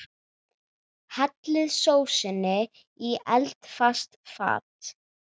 Hellið sósunni í eldfast fat.